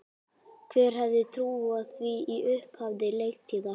Hver hefði trúað því í upphafi leiktíðar?